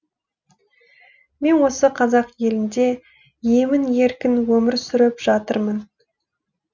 мен осы қазақ елінде емін еркін өмір сүріп жатырмын